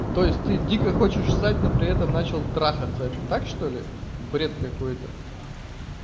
то есть ты дико хочешь ссать но при этом начал трахаться это так что-ли бред какой-то